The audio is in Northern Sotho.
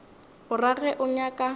o ra ge o nyaka